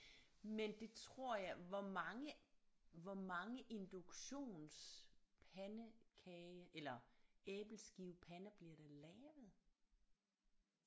Men det tror jeg hvor mange hvor mange induktionspandekage eller æbleskivepander bliver der lavet